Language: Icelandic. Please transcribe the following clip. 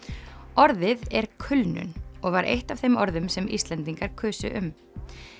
orðið er kulnun og var eitt af þeim orðum sem Íslendingar kusu um